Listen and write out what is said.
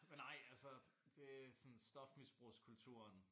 Men nej altså det sådan stofmisbrugskulturen